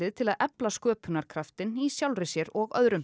til að efla sköpunarkraftinn í sjálfri sér og öðrum